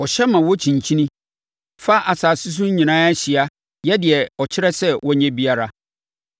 Ɔhyɛ ma wɔkyinkyini fa asase so nyinaa so hyia yɛ deɛ ɔkyerɛ sɛ wɔnyɛ biara.